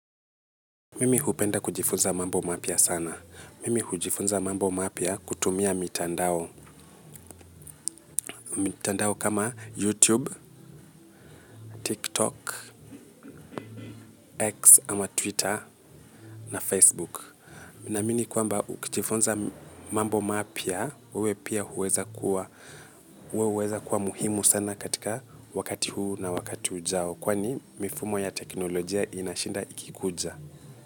Mimi hupenda kujifunza mambo mapya sana. Mimi hujifunza mambo mapya kutumia mitandao. Mitandao kama YouTube, TikTok, X ama Twitter na Facebook. Naamini kuamba ukujifunza mambo mapya, uwe pia uweza kuwa muhimu sana katika wakati huu na wakati ujao. Kwani mifumo ya teknolojia inashinda ikikuja.